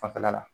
Fanfɛla la